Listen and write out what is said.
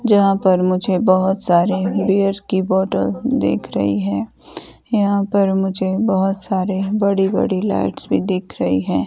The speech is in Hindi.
जहां पर मुझे बहोत सारे बीयर की बोतल दिख रही है। यहाँ पर मुझे बहोत सारी बड़ी बड़ी लाइटेंस भी दिख रही है।